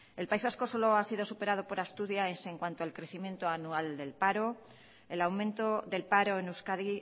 el país vasco solo ha sido superado por asturias en cuanto al crecimiento anual del paro el aumento del paro en euskadi